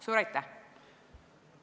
Suur aitäh!